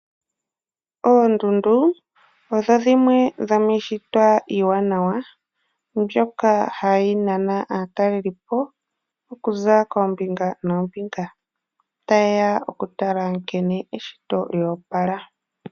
Oondundu odho dhimwe dhomiishitwa iiwanawa, mbyoka hayi nana aatalelipo okuza koombinga noombinga taye ya okutala nkene eshito lyoopala.